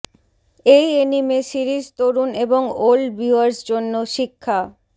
এই anime series তরুণ এবং ওল্ড ভিউয়ার্স জন্য শিক্ষা